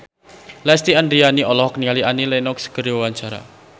Lesti Andryani olohok ningali Annie Lenox keur diwawancara